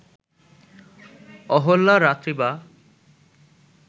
অহল্যা রাত্রি বা